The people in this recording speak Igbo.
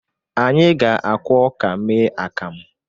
Anyị ga-akwọ ọka mee akamu.